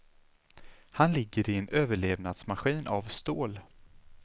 Han ligger i en överlevnadsmaskin av stål.